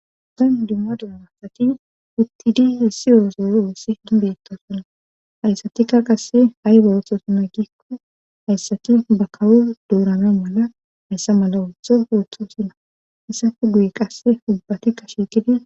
Haysan dumma dumma assati uttidi issi yoozoro hissi hinbettosuna hayssatikka qasse ha7y bawothosuna gikko hayssati ba kawu doorana mala hayssa mala utho oothosina issafe guye qasse ubbatikka shigidi